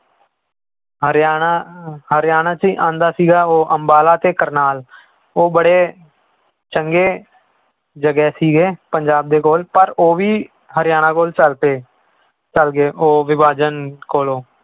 ਹਰਿਆਣਾ ਹਰਿਆਣਾ 'ਚ ਹੀ ਆਉਂਦਾ ਸੀਗਾ, ਉਹ ਅੰਬਾਲਾ ਤੇ ਕਰਨਾਲ ਉਹ ਬੜੇ ਚੰਗੇ ਜਗ੍ਹਾ ਸੀਗੇ ਪੰਜਾਬ ਦੇ ਕੋਲ ਪਰ ਉਹ ਵੀ ਹਰਿਆਣਾ ਕੋਲ ਚੱਲ ਚੱਲ ਗਏ ਉਹ ਵਿਭਾਜਨ ਕੋਲੋਂ।